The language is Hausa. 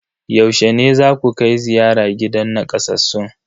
Yaushe ne zaku kai ziyara gidan nakasassun?